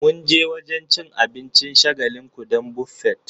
Mun je wajen cin abincin shagalinku don Buffet